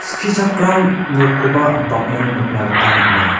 skichakram nokoba bang·en nikna gita man·a.